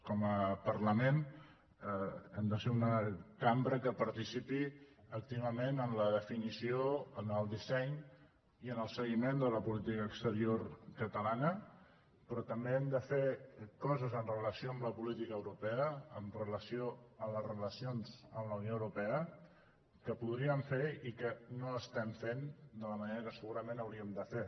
com a parlament hem de ser una cambra que participi activament en la definició en el disseny i en el seguiment de la política exterior catalana però també hem de fer coses amb relació a la política europea amb relació a les relacions en la unió europea que podríem fer i que no estem fent de la manera que segurament ho hauríem de fer